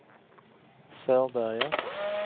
Sörberge